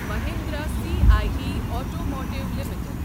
Mahindra C I E automotive limited